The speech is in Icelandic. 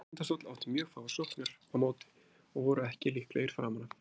Tindastóll átti mjög fáar sóknir á móti og voru ekki líklegir framan af.